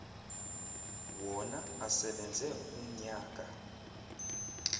wona asebenze umnyaka